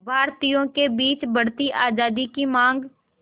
भारतीयों के बीच बढ़ती आज़ादी की मांग